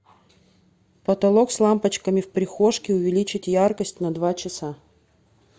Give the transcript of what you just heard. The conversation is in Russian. потолок с лампочками в прихожке увеличить яркость на два часа